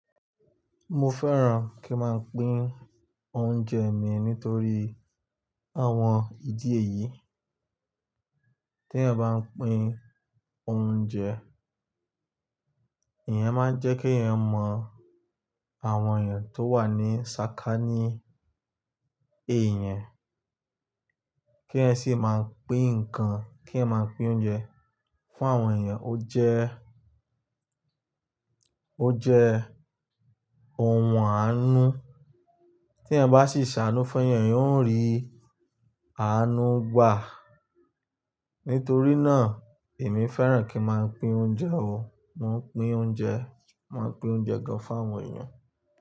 Mo fẹ́ràn kí n máa pín oúnjẹ mi nítorí àwọn ìdí èyí. Tí èèyàn bá ń pín oúnjẹ, ìyẹn máa ń jẹ́ kí ẹ mọ àwọn èèyàn tó wà ní sàkání èèyàn, kí ẹ sì máa pín nǹkan, kí ẹ máa pín oúnjẹ fún àwọn èèyàn. Ó jẹ, ó jẹ ohun àánú. Tí èèyàn bá sì ṣàánú fún ẹyàn, ìyẹn ó ń rí àánú gbà. Nítorí náà, èmi fẹ́ràn kí n máa pín oúnjẹ o. Mo ń pín oúnjẹ, mo ń pín oúnjẹ gan fún àwọn èèyàn.